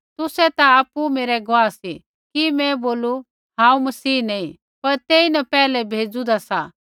तुसै ता आपु मेरै गुआह सी कि मैं बोलू हांऊँ मसीह नैंई पर तेईन पहले भेजुन्दा सा